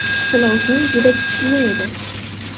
Silovsin juda kichkina edi.